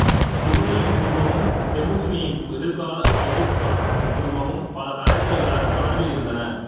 சுபுதையின் குடும்பமும் தெமுசினின் எதிர்கால செங்கிஸ்கான் குடும்பமும் பல தலைமுறைகளாக தொடர்பில் இருந்தன